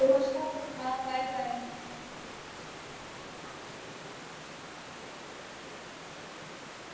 ਪੁੱਛ ਲਾ ਪੁੱਛ ਲਾ byebye